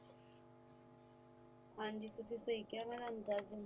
ਹਾਂਜੀ ਤੁਸੀ ਸਹੀ ਕਿਆ ਮੈ ਤਾਣੁ ਦੱਸਦੇਣੀ